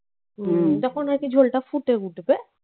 যখন আর কি ঝোলটা ফুটে উঠবে